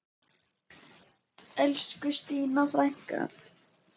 Elsku Stína frænka!